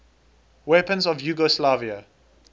weapons of yugoslavia